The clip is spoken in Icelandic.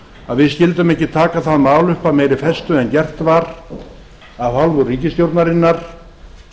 að við skyldum ekki taka það mál upp af meiri festu en gert var af hálfu ríkisstjórnarinnar